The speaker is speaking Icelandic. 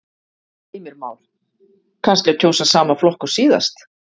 Heimir Már: Kannski að kjósa sama flokk og síðast?